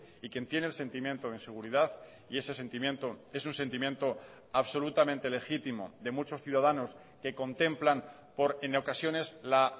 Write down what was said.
y quien tiene el sentimiento o inseguridad y ese sentimiento es un sentimiento absolutamente legítimo de muchos ciudadanos que contemplan por en ocasiones la